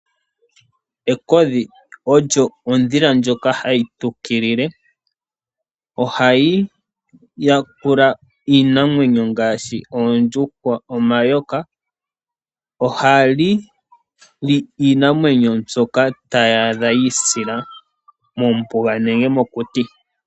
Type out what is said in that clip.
Ekodhi olyo odhila ndjoka hayi tukilile, ohayi yakula iinamwenyo ngaashi oondjuhwa, omayoka. Ohali li iinamwenyo mbyoka ta li adha yiisila mombuga nenge mokuti.